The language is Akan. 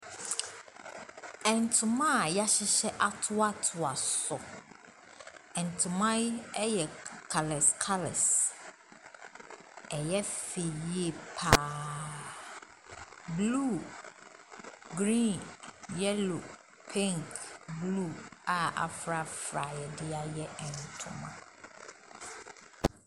Ntoma a yɛahyehyɛ atoatoa so, ntoma yi yɛ colours colours, ɛyɛ fɛ yie pa ara. Blue, green, yellow, pink, blue a aforafora a yɛde ayɛ ntoma.